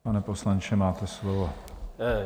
Pane poslanče, máte slovo.